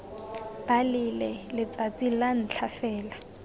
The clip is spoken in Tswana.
balele letsatsi la ntlha fela